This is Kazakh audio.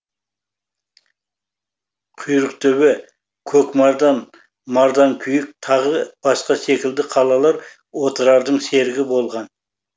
құйрықтөбе көкмардан марданкүйік тағы басқа секілді қалалар отырардың серігі болған